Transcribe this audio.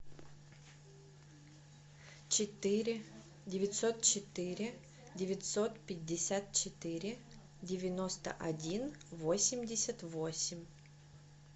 четыре девятьсот четыре девятьсот пятьдесят четыре девяносто один восемьдесят восемь